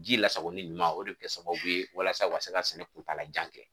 Ji lasagoli ɲuman o de kɛ sababu ye walasa ka se ka sɛnɛ kuntaala jan kɛ